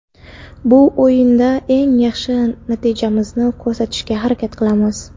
Bu o‘yinda eng yaxshi natijamizni ko‘rsatishga harakat qilamiz.